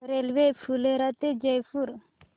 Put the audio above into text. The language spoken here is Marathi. रेल्वे फुलेरा ते जयपूर